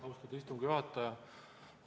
Austatud istungi juhataja!